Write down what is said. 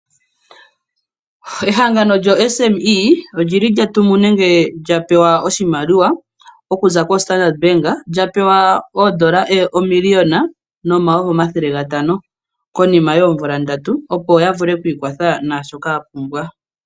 Ehangano lyoSME olili lya tumu nenge lya pewa oshimaliwa okuza koStandard Bank lya pewa oondola omiliona nomauvi omathele gatano konima yoomvula ndatu opo ya vule oku ikwatha nashoka ya pumbwa.